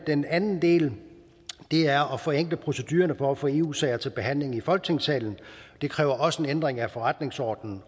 den anden ting er at forenkle procedurerne for at få eu sager til behandling i folketingssalen det kræver også en ændring af forretningsordenen